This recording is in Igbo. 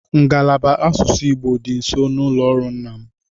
Ngalaba asụsụ Igbo dịbu nso n'ụlọ ọrụ nna m.